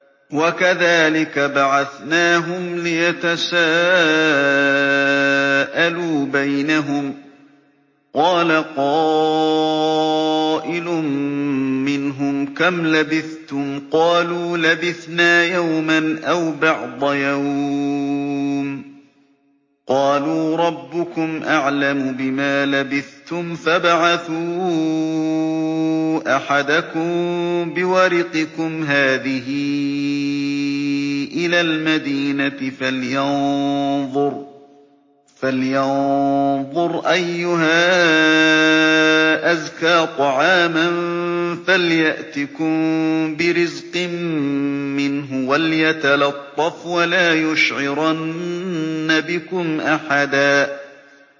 وَكَذَٰلِكَ بَعَثْنَاهُمْ لِيَتَسَاءَلُوا بَيْنَهُمْ ۚ قَالَ قَائِلٌ مِّنْهُمْ كَمْ لَبِثْتُمْ ۖ قَالُوا لَبِثْنَا يَوْمًا أَوْ بَعْضَ يَوْمٍ ۚ قَالُوا رَبُّكُمْ أَعْلَمُ بِمَا لَبِثْتُمْ فَابْعَثُوا أَحَدَكُم بِوَرِقِكُمْ هَٰذِهِ إِلَى الْمَدِينَةِ فَلْيَنظُرْ أَيُّهَا أَزْكَىٰ طَعَامًا فَلْيَأْتِكُم بِرِزْقٍ مِّنْهُ وَلْيَتَلَطَّفْ وَلَا يُشْعِرَنَّ بِكُمْ أَحَدًا